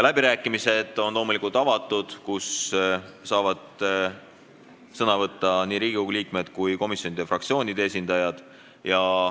Läbirääkimised on loomulikult avatud, sõna saavad võtta nii Riigikogu liikmed kui ka komisjonide ja fraktsioonide esindajad.